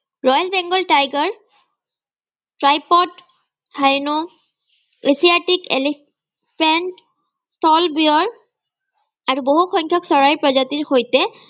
royal begal tiger আৰু বহু সংখ্যক চৰাইৰ প্ৰজাতিৰ সৈতে